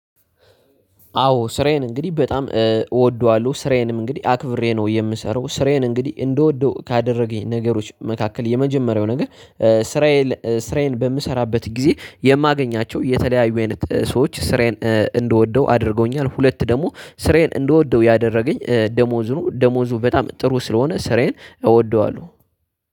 አዎ ስራዬን እንግዲህ በጣም እወደዋለሁ ስራዬንም እንግዲህ አክብሬ ነው የምሰራው ስራዬን እንግዲህ እንደወደው ካደረገኝ ነገሮች መካከል የመጀመሪያው ነገር። ስራዬን ስራዬን በምሰራበት ጊዜ የማገኛቸው የተለያዩ አይነት ሰዎች ስራዬን እንደወደው አድርገውኛል ሁለት ደግሞ ስሬን እንደወደው ያደረገኝ ደሞዙን ደሞዙ በጣም ጥሩ ስለሆነ ስራዬን እወደዋለሁ።